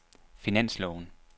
finansloven